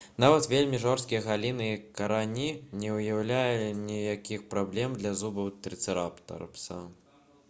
нават вельмі жорсткія галіны і карані а не толькі лісце не ўяўлялі ніякіх праблем для зубоў трыцэратапса